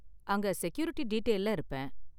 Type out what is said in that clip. அங்க செக்யூரிட்டி டீடெயில்ல இருப்பேன்.